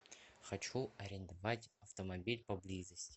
хочу арендовать автомобиль поблизости